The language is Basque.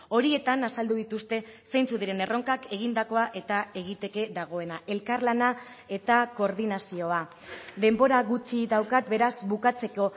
horietan azaldu dituzte zeintzuk diren erronkak egindakoa eta egiteke dagoena elkarlana eta koordinazioa denbora gutxi daukat beraz bukatzeko